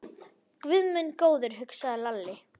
Guð minn góður, hugsaði Lalli.